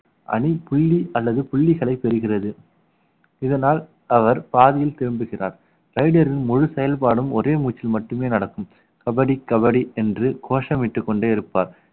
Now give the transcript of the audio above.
அணி புள்ளி அல்லது புள்ளிகளை பெறுகிறது இதனால் அவர் பாதியில் திரும்புகிறார் டைடலின் முழு செயல்பாடும் ஒரே மூச்சில் மட்டுமே நடக்கும் கபடி கபடி என்று கோஷமிட்டுக் கொண்டே இருப்பார்